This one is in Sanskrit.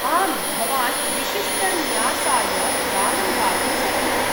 आम्, भवान् विशिष्टन्यासाय दानं दातुं शक्नोति।